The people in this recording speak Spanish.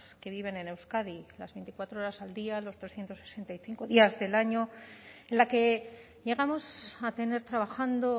que viven en euskadi las veinticuatro horas al día los trescientos sesenta y cinco días del año en la que llegamos a tener trabajando